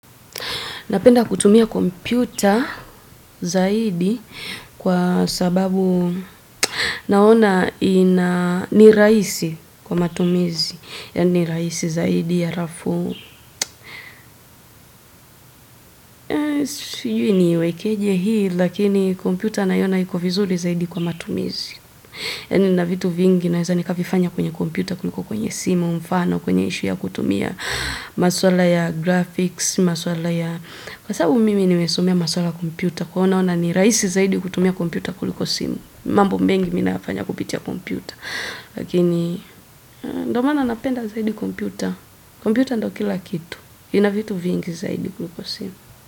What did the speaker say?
Napenda kutumia computer zaidi kwa sababu, naona ni rahisi kwa matumizi, yani rahisi zaidi alafu Eh, sijui ni iwekeje hii, lakini computer naiona iko vizuri zaidi kwa matumizi. Yani nina vitu vingi naweza nikavifanya kwenye computer kuliko kwenye simu mfano kwenye issue ya kutumia maswala ya graphics, maswala ya Kwa sababu mimi nime somea maswala ya computer, kwa hiyonaona ni rahisi zaidi kutumia computer kuliko simu. Mambo mengi mi nayafanya kupitia computer. Lakini Ndio maana napenda zaidi computer. Computer ndio kila kitu. Ina vitu vingi zaidi kuliko simu.